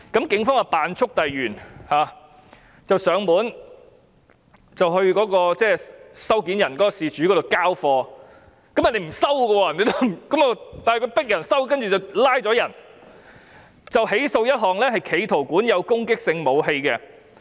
警方於是喬裝速遞員，約事主收貨，事主拒絕簽收，但警方仍拘捕他，再起訴一項企圖管有攻擊性武器罪。